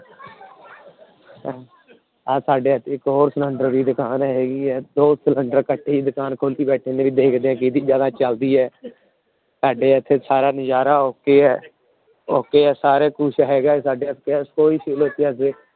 ਆਹ ਸਾਡੇ ਇੱਕ ਹੋਰ ਸਿਲੈਂਡਰ ਦੀ ਦੁਕਾਨ ਹੈਗੀ ਹੈ ਦੋ ਸਿਲੈਂਡਰ ਇਕੱਠੇ ਹੀ ਦੁਕਾਨ ਖੋਲੀ ਬੈਠੇ ਨੇ ਵੀ ਦੇਖਦੇ ਹਾਂ ਕਿਹਦੀ ਜ਼ਿਆਦਾ ਚੱਲਦੀ ਹੈ ਸਾਡੇ ਇੱਥੇ ਸਾਰਾ ਨਜ਼ਾਰਾ okay ਹੈ okay ਹੈ ਸਾਰੇ ਕੁਛ ਹੈਗਾ ਸਾਡੇ ਇੱਥੇ